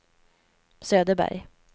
Söderberg